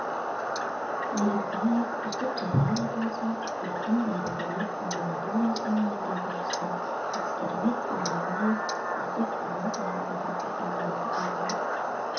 елікбаев үздік дәрігер атанса еркін дәрігерлік амбулаториясының меңгерушісі әскербек оралбаев үздік ауыл дәрігері атанды екі